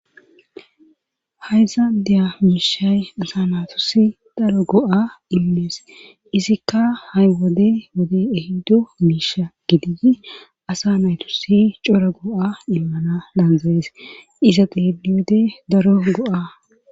Hayzaadeya miishay asa naatosi daro go;a immees izikka hay wode wode ehiddo miisha gidigi asa naytosi coro go'a immana daanzaees iza deelli wode daro go'a.